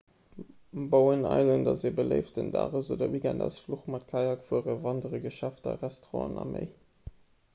bowen island ass e beléiften dages oder weekendausfluch mat kajakfueren wanderen geschäfter restauranten a méi